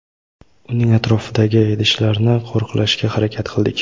uning atrofidagi idishlarni qo‘riqlashga harakat qildik.